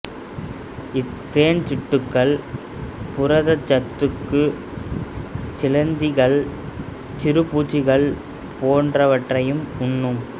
இத் தேன்சிட்டுகள் புரதச் சத்துக்கு சிலந்திகள் சிறுபூச்சிகள் போன்றவற்றையும் உண்ணும்